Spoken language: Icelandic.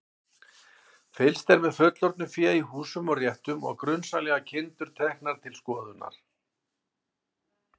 Fylgst er með fullorðnu fé í húsum og réttum og grunsamlegar kindur teknar til skoðunar.